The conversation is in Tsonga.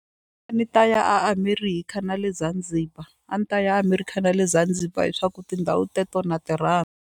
A ni ta ya eAmerica na le Zanzibar a ni ta ya America na le Zanzibar hiswaku tindhawu teto na ti rhandza.